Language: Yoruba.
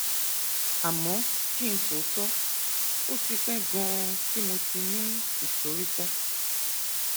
àmọ kí n sòótọ ó ti pẹ ganan tí mo ti ní ìsoríkọ